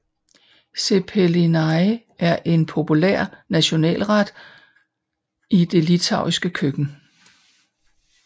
Cepelinai er en populær national ret i det litauiske køkken